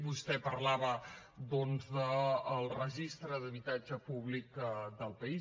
vostè parlava doncs del registre d’habitatge públic del país